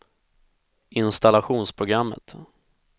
installationsprogrammet